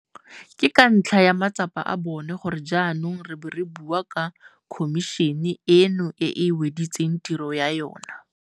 Ke ka ntlha ya matsapa a bona gore jaanong re bo re bua ka khomišene eno e e weditseng tiro ya yona.